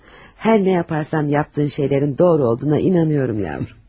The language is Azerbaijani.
Nə edirsənsə et, etdiklərinin doğru olduğuna inanıram balam.